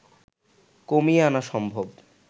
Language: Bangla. কমিয়ে আনা সম্ভব